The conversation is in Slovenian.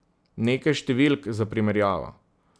Nekaj številk za primerjavo.